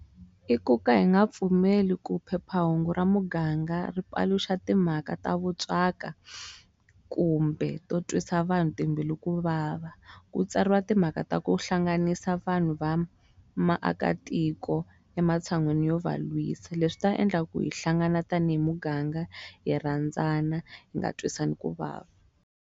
I ku ka hi nga pfumeli ku phephahungu ra muganga ri paluxa timhaka ta vuntswaka kumbe to twisa vanhu timbilu ku vava ku tsariwa timhaka ta ku hlanganisa vanhu va maakatiko ematshan'wini yo va lwisa leswi ta endla ku hi hlangana tanihi muganga hi rhandzana hi nga twisani ku vava.